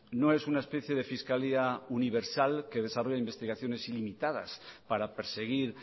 no es una especie de fiscalía universal que desarrolla investigación ilimitadas para perseguir